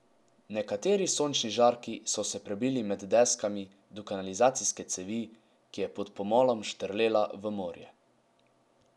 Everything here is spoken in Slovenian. Nekateri sončni žarki so se prebili med deskami do kanalizacijske cevi, ki je pod pomolom štrlela v morje.